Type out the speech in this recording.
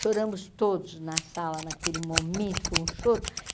Choramos todos na sala, naquele momento, foi um choro.